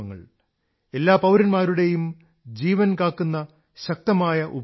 എല്ലാ പൌരന്മാരുടെയും ജീവൻ കാക്കുന്ന ശക്തമായ ഉപായങ്ങളാണ്